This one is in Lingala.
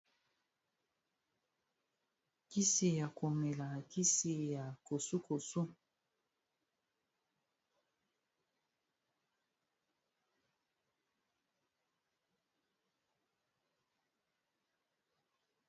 kisi ya komela kisi ya kosukosu